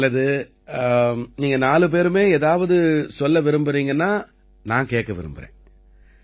நல்லது நீங்க நாலு பேருமே ஏதாவது சொல்ல விரும்பறீங்கன்னா நான் கேட்க விரும்பறேன்